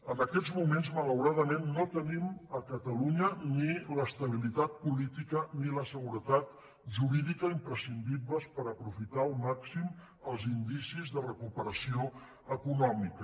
en aquests moments malauradament no tenim a ca·talunya ni l’estabilitat política ni la seguretat jurídica imprescindibles per aprofitar al màxim els indicis de recuperació econòmica